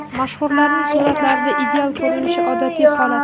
Mashhurlarning suratlarda ideal ko‘rinishi odatiy holat.